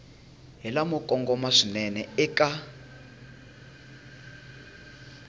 hi lamo kongoma swinene eka